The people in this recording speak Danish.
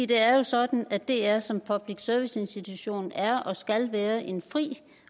det er jo sådan at dr som public service institution er og skal være en fri